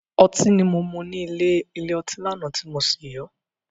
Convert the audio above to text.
Otí ni mo mú nílè ilé ọtí lánàá tí mo sì yó.